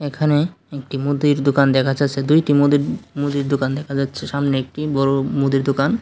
এখানে একটি মুদির দোকান দেখা যাচ্ছে দুইটি মুদির মুদির দোকান দেখা যাচ্ছে সামনে একটি বড় মুদির দোকান।